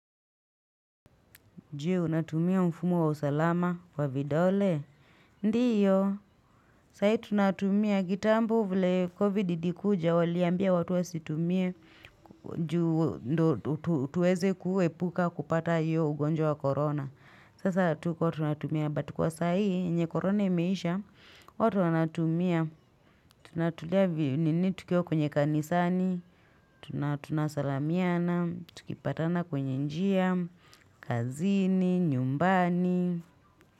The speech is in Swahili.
Juu, unatumia mfumu wa usalama kwa vidole. Ndio, saa hii tunatumia. Kitambo vlie COVID ilikuja, waliambia watu wa situmie. Juu, tuweze kuepuka kupata hiyo ugonjwa ya corona. Sasa tuko tunatumia. Butkwa saa hii, yne corona imeisha, watu wanatumia. Tunatulia vi nini tukiwa kwenye kanisani. Tunasalamiana, tukipatana kwenye njia. Kazini, nyumbani.